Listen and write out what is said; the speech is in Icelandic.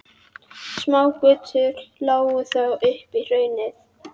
Smágötur lágu þó upp í hraunið.